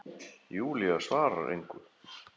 Júlía svarar engu.